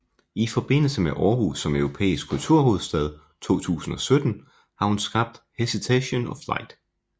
I forbindelse med Aarhus som Europæisk Kulturhovedstad 2017 har hun skabt Hesitation of Light